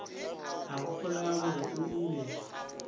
a gopola gore o ile